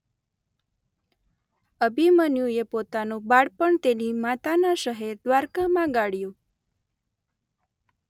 આભિમન્યુએ પોતાનું બાળપણ તેની માતાના શહેર દ્વારકામાં ગાળ્યુ.